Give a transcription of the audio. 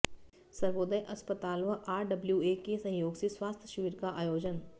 सर्वोदय अस्पताल व आरडब्लयूए के सहयोग से स्वास्थ्य शिविर का आयोजन